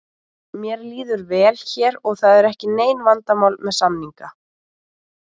Mér líður vel hér og það eru ekki nein vandamál með samninga.